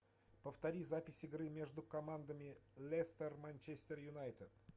повтори запись игры между командами лестер манчестер юнайтед